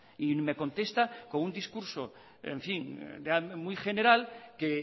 y me contesta con un discurso muy general que